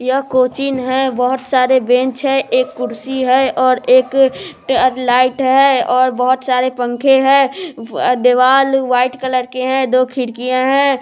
यह कोचिंग है बहुत सारे बेंच है एक कुर्सी है और एक ट्यूब लाइट है और बहुत सारे पंखे है व दीवाल व्हाइट कलर के है दो खिड़किया है।